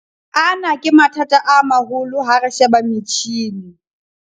Ana ke mathata a maholo ha re sheba metjhini